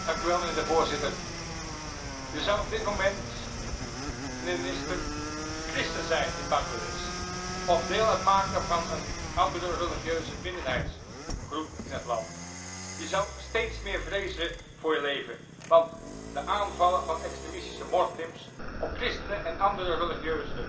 Stel, je zou op dit moment christen zijn in Bangladesh of deel uitmaken van een andere religieuze minderheidsgroep in het land, je zou steeds meer vrezen voor je leven, want de aanvallen van extremistische moslims op christenen en andere religieuze